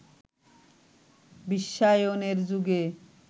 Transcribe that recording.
বিশ্বায়নের যুগে